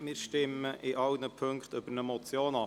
Wir stimmen in allen Punkten über eine Motion ab.